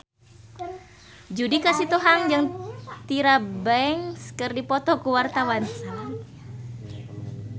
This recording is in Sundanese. Judika Sitohang jeung Tyra Banks keur dipoto ku wartawan